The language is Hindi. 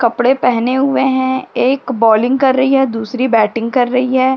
कपडे पहने हुए हैं। एक बॉलिंग कर रही है। दूसरी बैटिंग कर रही है।